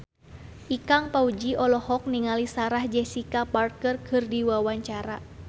Ikang Fawzi olohok ningali Sarah Jessica Parker keur diwawancara